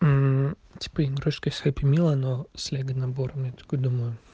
типа игрушка из хэппи мила но с лего наборами такой думаю